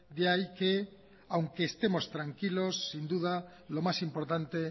de ahí que aunque estemos tranquilos sin duda lo más importante